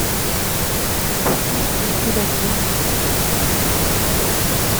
вкусные пироги